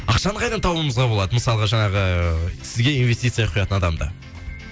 ақшаны қайдан табуымызға болады мысалға жаңағы сізге инвестиция құятын адамды